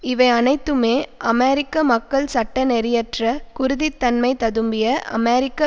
இவை அனைத்துமே அமெரிக்க மக்கள் சட்ட நெறியற்ற குருதித்தன்மை ததும்பிய அமெரிக்க